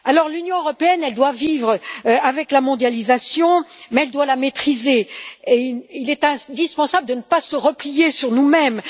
L'Union européenne doit vivre avec la mondialisation, mais elle doit la maîtriser et il est indispensable de ne pas nous replier sur nous mêmes.